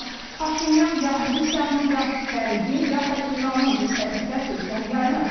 Amma Paşinyan gah Rusiyanın, gah Qərbin, gah da İranın diktəsi ilə sülhdən yayınıb.